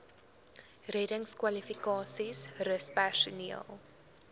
reddingskwalifikasies rus personeel